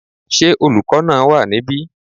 Ṣé olùkọ́ náà wà níbí?